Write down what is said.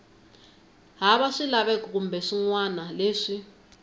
hava swilaveko kumbe swinawana leswi